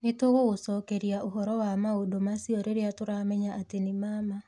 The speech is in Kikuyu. Nĩ tũgũgũcokeria ũhoro wa maũndũ macio rĩrĩa tũramenya atĩ nĩ ma ma.